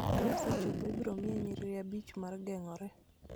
Ka osechopo, ibiro miye nyiriri abich mar geng�ore